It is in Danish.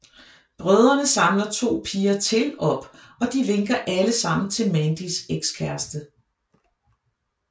Brødrene samler to piger til op og de vinker alle sammen til Mandys ekskæreste